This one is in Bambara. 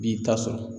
Bi ta sɔrɔ